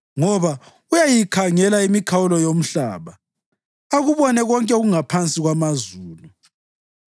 ngoba uyayikhangela imikhawulo yomhlaba akubone konke okungaphansi kwamazulu.